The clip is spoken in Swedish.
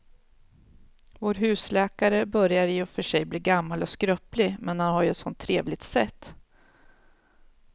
Vår husläkare börjar i och för sig bli gammal och skröplig, men han har ju ett sådant trevligt sätt!